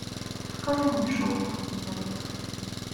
покажи мне шоу темный дворецкий